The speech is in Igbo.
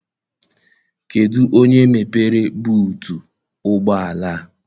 Kedụ onye mepere buutu ụgbọala a?